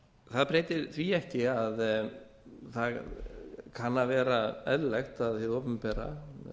það breytir því ekki að það kann að vera eðlilegt að hið opinbera